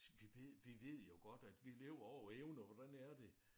Vi ved vi ved jo godt at vi lever over evne og hvordan er det